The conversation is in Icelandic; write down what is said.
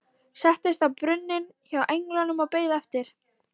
Settist á brunninn hjá englinum og beið eftir